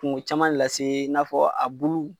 Kunko caman de lase, i n'a fɔ a bulu